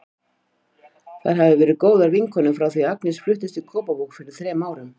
Þær hafa verið góðar vinkonur frá því að Agnes fluttist í Kópavog fyrir þrem árum.